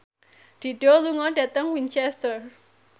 Dido lunga dhateng Winchester